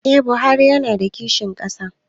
Eh buhari yana da kishin ƙasa